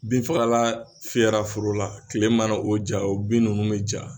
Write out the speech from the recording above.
Binfagalan fiyɛra foro la tile mana o ja o bin ninnu bɛ ja.